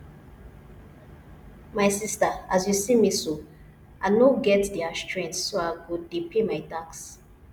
my sister as you see me so i no get their strength so i go dey pay my tax